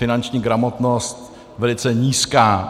Finanční gramotnost velice nízká.